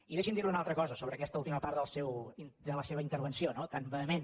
i deixi’m dir·li una altra cosa sobre aquesta última part de la seva intervenció no tan vehement